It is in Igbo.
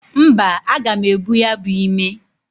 Mba, aga m ebu ya bu ime.